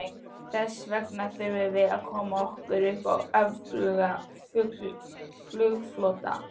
Þessvegna þurfum við að koma okkur upp öflugum flugflota.